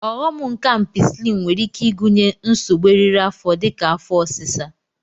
Ọghom nke Ampisilin nwere ike ịgụnye nsogbu eriri afọ dịka afọ ọsịsa